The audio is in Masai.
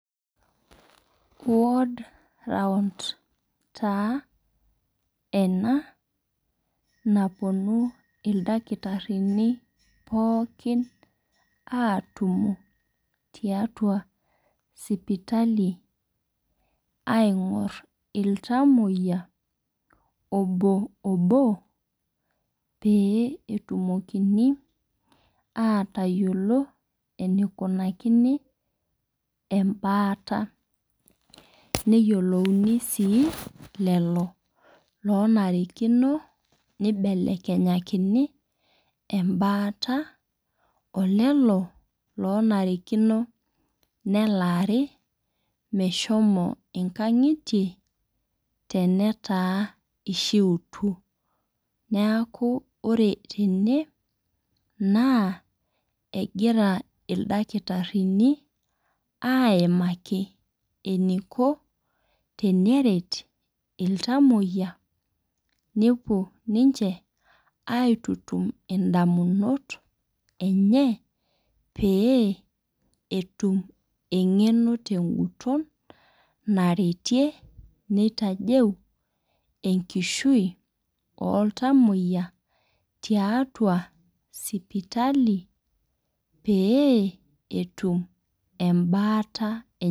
quod round taa ena napuonu ildakitarini pookin atumo tiatua sipitali aing'or iltamoyia obo pee etumokini atayiolo enikonakini ebaata. Neyiolouni sii lelo onare nibelekenyakini ebaata olelo loonarikino nee lari meshomo inkang'itie tenataa ishiutuo. Neeku ore tene naa egira ildakitarini aimaki eniko teneret iltamoyia nepuo ninche aitutum idamunot enye peyie etum eng'eno tee guton naretie jitajeu enkishui oo iltamoyia tiatua sipitali pee etum ebaata enye.